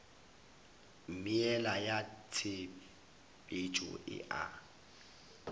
meela ya tshepetšo e a